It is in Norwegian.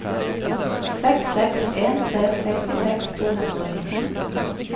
seks seks en tre sekstiseks to hundre og nitten